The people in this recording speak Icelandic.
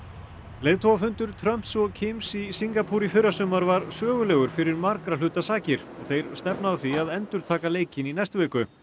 leiðtogafundur Trumps og í Singapúr í fyrrasumar var sögulegur fyrir margra hluta sakir og þeir stefna að því að endurtaka leikinn í næstu viku